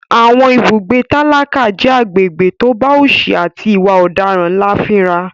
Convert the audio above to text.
Àwọn ibùgbé tálákà jẹ́ agbègbè tó bá òsì àti ìwà ọ̀daràn ńlá fínra.